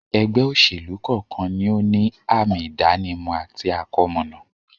ẹgbẹ́-òsèlú kọ́ọ̀kan ni ó ní àmi-ìdánimọ̀ àti àkọmọ̀nà.